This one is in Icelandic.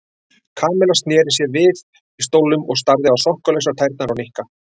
Kamilla snéri sér við í stólnum og starði á sokkalausar tærnar á Nikka.